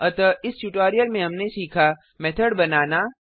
अतः इस ट्यूटोलियल में हमनें सीखा मेथड बनाना